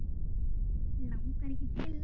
Langar ekki til þess.